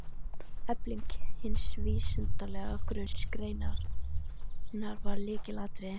Efling hins vísindalega grunns greinarinnar varð lykilatriði.